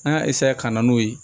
An ka ka na n'o ye